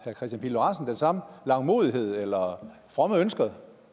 kristian pihl lorentzen den samme langmodighed eller fromme ønske